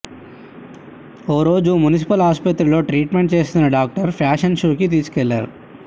ఓ రోజు మున్సిపల్ ఆసుపత్రిలో ట్రీట్మెంట్ చేస్తున్న డాక్టర్ ఫ్యాషన్ షోకి తీసుకువెళ్లారు